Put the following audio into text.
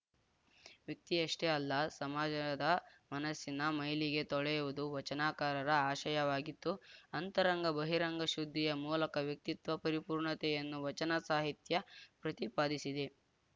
ವ್ಯಕ್ತಿಯಷ್ಟೇ ಅಲ್ಲ ಸಮಾಜದ ಮನಸ್ಸಿನ ಮೈಲಿಗೆ ತೊಳೆಯುವುದು ವಚನಕಾರರ ಆಶಯವಾಗಿತ್ತು ಅಂತರಂಗ ಬಹಿರಂಗ ಶುದ್ಧಿಯ ಮೂಲಕ ವ್ಯಕ್ತಿತ್ವ ಪರಿಪೂರ್ಣತೆಯನ್ನು ವಚನ ಸಾಹಿತ್ಯ ಪ್ರತಿಪಾದಿಸಿದೆ